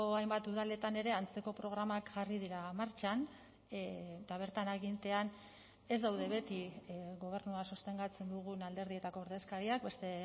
hainbat udaletan ere antzeko programak jarri dira martxan eta bertan agintean ez daude beti gobernua sostengatzen dugun alderdietako ordezkariak beste